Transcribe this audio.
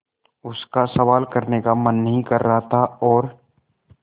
उसका सवाल करने का मन नहीं कर रहा था और